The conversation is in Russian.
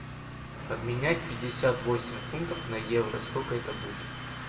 обменять пятьдесят восемь фунтов на евро сколько это будет